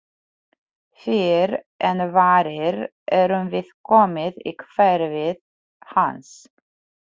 Fyrr en varir erum við komin í hverfið hans.